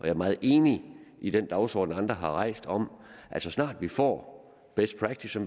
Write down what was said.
er meget enig i den dagsorden som andre har rejst om at så snart vi får best practice